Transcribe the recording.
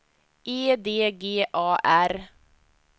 E D G A R